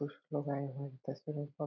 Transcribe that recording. कुछ लोग आए है तस्वीर उनका --